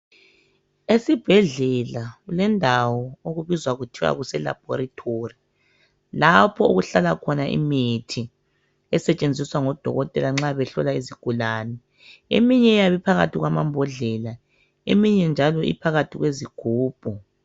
Esibhedlela kulendawo okubizwa kuthwa kuselaboratory lapho okuhlala khona imithi esetshenziswa ngodokotela nxa behlola izigulane. Eminye iyabe iphakathi kwamambodlela eminye njalo iphakathi kwezigubhu.